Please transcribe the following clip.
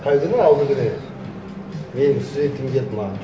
қай күні алдыңгүні менің студентім келді маған